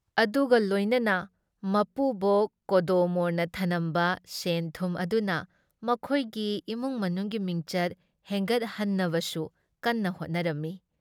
ꯑꯗꯨꯒ ꯂꯣꯏꯅꯅ ꯃꯄꯨꯕꯣꯛ ꯀꯣꯗꯣꯃꯣꯔꯅ ꯊꯅꯝꯕ ꯁꯦꯟꯊꯨꯝ ꯑꯗꯨꯅ ꯃꯈꯣꯏꯒꯤ ꯏꯃꯨꯡ ꯃꯅꯨꯡꯒꯤ ꯃꯤꯡꯆꯠ ꯍꯦꯟꯒꯠꯍꯟꯅꯕꯁꯨ ꯀꯟꯅ ꯍꯣꯠꯅꯔꯝꯃꯤ ꯫